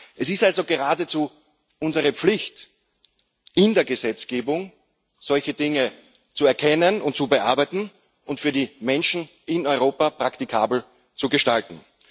Es ist also geradezu unsere Pflicht, in der Gesetzgebung solche Dinge zu erkennen und zu bearbeiten und für die Menschen in Europa praktikabel zu gestalten.